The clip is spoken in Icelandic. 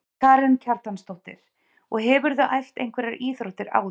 Karen Kjartansdóttir: Og hefurðu æft einhverjar íþróttir áður?